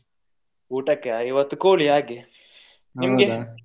ಊಟಕ್ಕೆ ಇವತ್ತು ಕೋಳಿ ಹಾಗೆ ನಿಮ್ಗೆ?